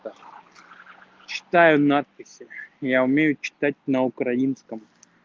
да читаю надписи я умею читать на украинском